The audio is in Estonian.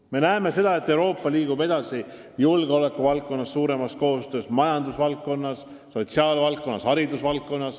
Me näeme, et Euroopa liigub edasi, tehes enam koostööd julgeoleku valdkonnas, samuti majandus-, sotsiaal- ja haridusvaldkonnas.